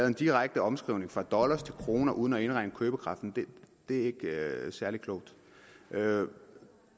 en direkte omskrivning fra dollar til kroner uden at indregne købekraften og det er ikke særlig klogt